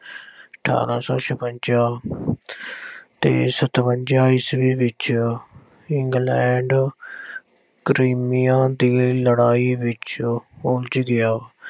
ਅਠ੍ਹਾਰਾਂ ਸੌ ਛਪੰਜਾ ਤੇ ਸਤਵੰਜਾ ਈਸਵੀ ਵਿੱਚ England, Crimean ਦੀ ਲੜਾਈ ਵਿੱਚ ਉਲਝ ਗਿਆ।